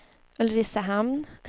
Ulricehamn